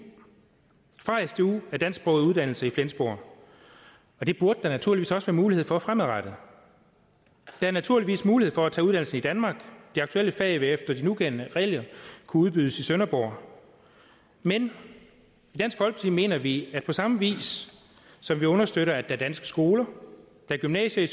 af dansksprogede uddannelser i flensborg det burde der naturligvis også være mulighed for fremadrettet der er naturligvis mulighed for at tage uddannelse i danmark og de aktuelle fag vil efter de nugældende regler kunne udbydes i sønderborg men i mener vi at på samme vis som vi understøtter at er danske skoler og gymnasier